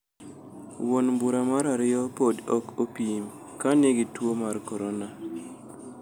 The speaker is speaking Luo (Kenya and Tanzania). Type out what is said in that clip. Wuon mbura mar ariyo podi ok opim ka nigi tuo mar korona.